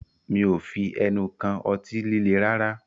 Mí ò fi ẹnu kàn ọtí líle rárá